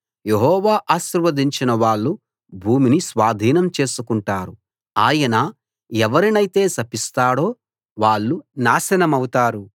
యెహోవా ఆశీర్వదించిన వాళ్ళు భూమిని స్వాధీనం చేసుకుంటారు ఆయన ఎవరినైతే శపిస్తాడో వాళ్ళు నాశనమౌతారు